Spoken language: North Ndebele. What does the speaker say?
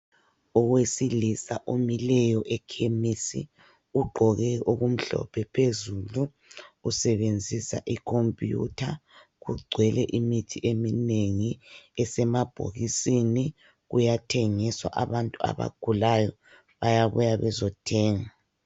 Owesilisa omileyo eKhemisi ugqoke okumhlophe phezulu usebenzisa ikhompiyutha . Kugcwele imithi eminengi esemabhokisini, kuyathengiswa. Abantu abagulayo bayabuya bezothenga.